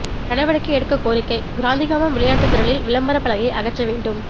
நடவடிக்கை எடுக்க கோரிக்கை காந்திகிராமம் விளையாட்டு திடலில் விளம்பர பலகையை அகற்ற வேண்டும்